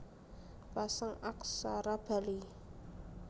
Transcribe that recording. Pasang Aksara Bali